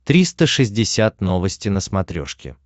триста шестьдесят новости на смотрешке